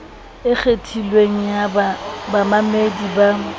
e kgethilweng ya bamamedi ba